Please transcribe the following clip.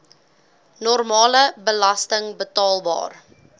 normale belasting betaalbaar